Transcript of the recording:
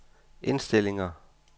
indstillinger